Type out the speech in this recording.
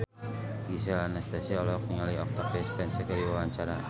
Gisel Anastasia olohok ningali Octavia Spencer keur diwawancara